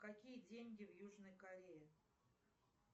какие деньги в южной корее